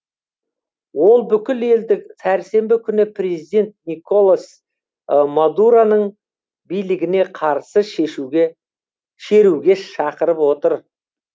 ол бүкіл елді сәрсенбі күні президент николас мадуроның билігіне қарсы шеруге шақырып отыр